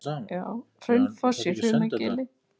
Hraunfoss í Hrunagili.